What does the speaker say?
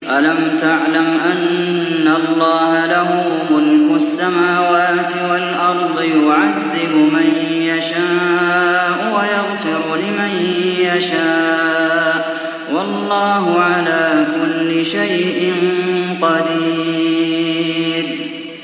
أَلَمْ تَعْلَمْ أَنَّ اللَّهَ لَهُ مُلْكُ السَّمَاوَاتِ وَالْأَرْضِ يُعَذِّبُ مَن يَشَاءُ وَيَغْفِرُ لِمَن يَشَاءُ ۗ وَاللَّهُ عَلَىٰ كُلِّ شَيْءٍ قَدِيرٌ